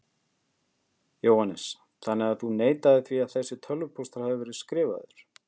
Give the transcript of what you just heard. Jóhannes: Þannig að þú neitar því að þessi tölvupóstur hafi verið skrifaður?